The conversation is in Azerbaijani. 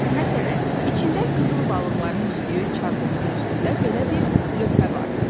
Məsələn, içində qızıl balıqların üzdüyü çarhovuzun üstündə belə bir lövhə vardı.